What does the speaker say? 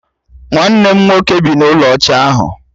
Nwanne m nwoke bị n'ulo ọcha ahu